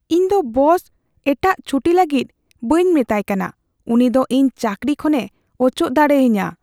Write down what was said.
ᱤᱧ ᱫᱚ ᱵᱚᱥ ᱮᱴᱟᱜ ᱪᱷᱩᱴᱤ ᱞᱟᱹᱜᱤᱫ ᱵᱟᱹᱧ ᱢᱮᱛᱟᱭ ᱠᱟᱱᱟ ᱾ ᱩᱱᱤ ᱫᱚ ᱤᱧ ᱪᱟᱹᱠᱨᱤ ᱠᱷᱚᱱᱼᱮ ᱚᱪᱚᱜ ᱫᱟᱲᱮ ᱟᱹᱧᱟᱹ ᱾